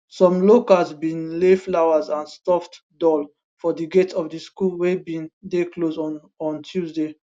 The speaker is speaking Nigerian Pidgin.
some locals bin lay flowers and stuffed doll for di gate of di school wey bin dey closed on on tuesday